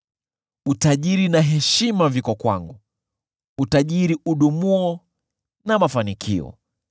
Utajiri na heshima viko kwangu, utajiri udumuo na mafanikio.